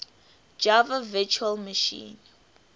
java virtual machine